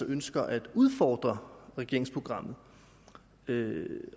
ønsker at udfordre regeringsprogrammet